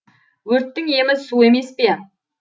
өрттің емі су емес пе